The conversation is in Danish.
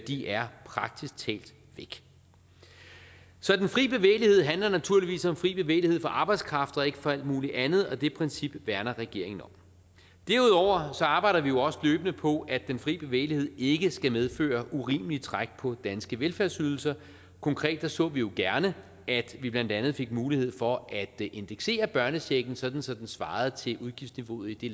de er praktisk talt væk så den fri bevægelighed handler naturligvis om fri bevægelighed for arbejdskraft og ikke for alt muligt andet og det princip værner regeringen om derudover arbejder vi også løbende på at den fri bevægelighed ikke skal medføre urimelige træk på danske velfærdsydelser konkret så vi jo gerne at vi blandt andet fik mulighed for at indeksere børnechecken så den svarer til udgiftsniveauet i det